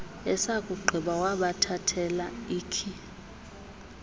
esakugqiba wabathathela ikhi